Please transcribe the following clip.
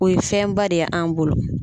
O ye fɛnba de ye an bolo.